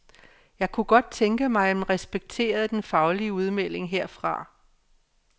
Jeg kunne godt tænke mig, at man respekterede den faglige udmelding herfra.